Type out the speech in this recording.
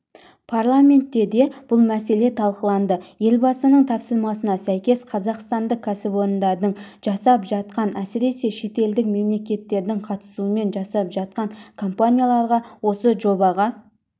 парламентте де бұл мәселе талқыланды елбасының тапсырмасына сәйкес қазақстандық кәсіпорындардың жасап жатқан әсіресе шетелдік мемлекеттердің қатысуымен жасап жатқан компанияларға осы жобға